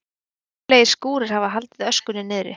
Reglulegir skúrir hafi haldið öskunni niðri